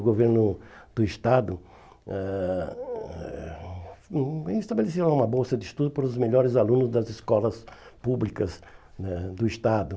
O governo do Estado eh eh estabeleceu uma bolsa de estudo para os melhores alunos das escolas públicas né do Estado.